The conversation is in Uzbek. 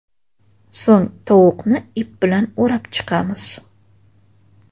So‘ng tovuqni ip bilan o‘rab chiqamiz.